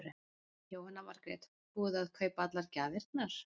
Jóhanna Margrét: Búið að kaupa allar gjafirnar?